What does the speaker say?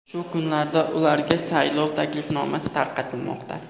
Shu kunlarda ularga saylov taklifnomasi tarqatilmoqda.